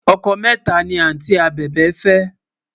ọkọ méta ní anti abèbè fé